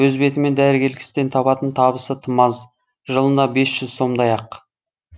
өз бетімен дәрігерлік істен табатын табысы тым аз жылына бес жүз сомдай ақ